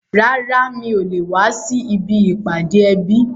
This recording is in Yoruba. Rárá, mi ò le wá sí ibi ìpàdé ẹbí